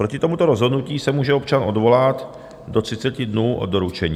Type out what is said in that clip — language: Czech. Proti tomuto rozhodnutí se může občan odvolat do 30 dnů od doručení.